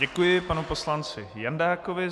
Děkuji panu poslanci Jandákovi.